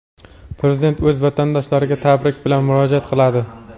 Prezident o‘z vatandoshlariga tabrik bilan murojaat qiladi.